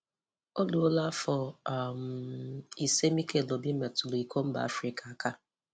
O ruola afọ um isii Mikel Obi metụrụ Iko Mba Afrịka aka